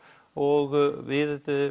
og við